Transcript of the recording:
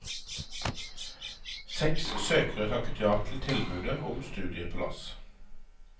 Seks søkere takket ja til tilbudet om studieplass.